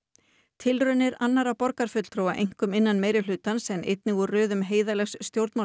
tilraunir annarra borgarfulltrúa einkum innan meirihlutans en einnig úr röðum heiðarlegs